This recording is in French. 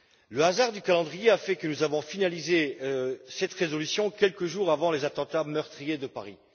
Le hasard du calendrier a fait que nous avons finalisé cette résolution quelques jours avant les attentats meurtriers de Paris.